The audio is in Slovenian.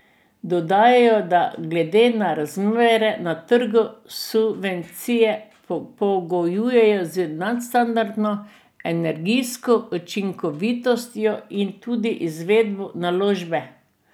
Dodajajo, da glede na razmere na trgu subvencije pogojujejo z nadstandardno energijsko učinkovitostjo in tudi izvedbo naložbe.